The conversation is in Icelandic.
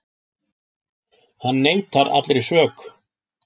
Hann neitar allri sök